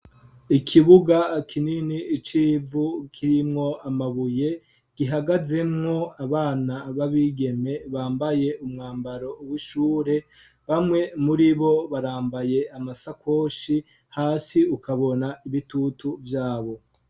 Ikibuga kinini icivu kirimwo amabuye gihagazemwo abana babigeme bambaye umwambaro wishure bamwe muri bo barambaye amasakoshi hasi ukabona ibitutu vyabo.